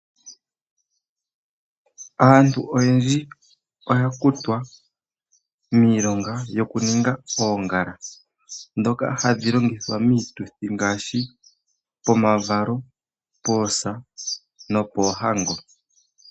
Aantu oyendji oya kutwa miilonga yokuninga oongala ndhoka hadhi longithwa miituthi ngaashi pomavalo, poosa nopoohango.